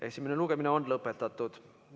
Esimene lugemine on lõpetatud.